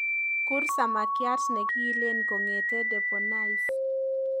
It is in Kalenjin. Kuur samakyat negiilen kongete deponais